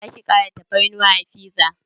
Zaki kara tafarnuwa a fiza?